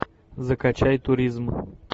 закачай туризм